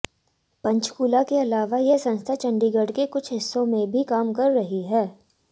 पंचकूला के अलावा यह संस्था चंडीगढ़ के कुछ हिस्सों में भी काम कर रही है